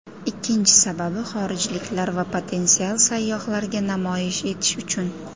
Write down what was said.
Ikkinchi sababi xorijliklar va potensial sayyohlarga namoyish etish uchun.